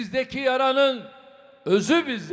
Sizdəki yaranın özü bizdədir.